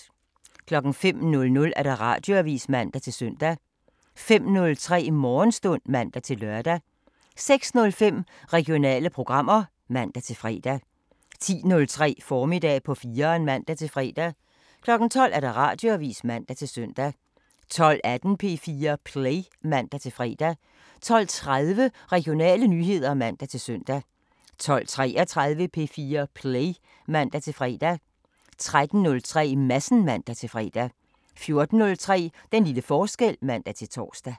05:00: Radioavisen (man-søn) 05:03: Morgenstund (man-lør) 06:05: Regionale programmer (man-fre) 10:03: Formiddag på 4'eren (man-fre) 12:00: Radioavisen (man-søn) 12:18: P4 Play (man-fre) 12:30: Regionale nyheder (man-søn) 12:33: P4 Play (man-fre) 13:03: Madsen (man-fre) 14:03: Den lille forskel (man-tor)